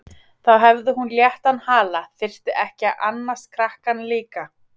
Þá hefði hún léttan hala, þyrfti ekki að annast krakkann líka.